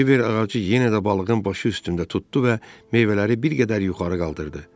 Kiver ağacı yenə də balığın başı üstündə tutdu və meyvələri bir qədər yuxarı qaldırdı.